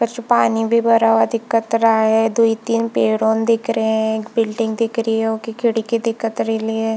परसो पानी भी भरा हुआ दिखत रहा है दू तीन पेड़ों दिख रहे है एक बिल्डिंग दिख रही है ओके खिड़की दिखत रेली है।